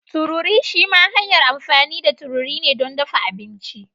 Tururi shima hanyar amfani da tururi don dafa abinci.